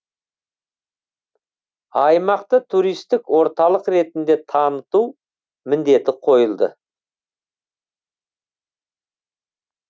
аймақты туристік орталық ретінде таныту міндеті қойылды